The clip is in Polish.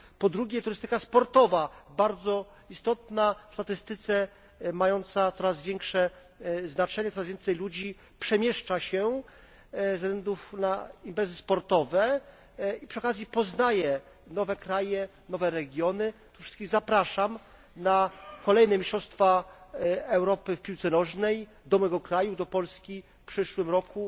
Po drugie, turystyka sportowa, bardzo istotna w statystyce, mająca coraz większe znaczenie, coraz więcej ludzi przemieszcza się ze względu na imprezy sportowe i przy okazji poznaje nowe kraje, nowe regiony tu wszystkich zapraszam na kolejne mistrzostwa Europy w piłce nożnej do mojego kraju, do Polski, w przyszłym roku.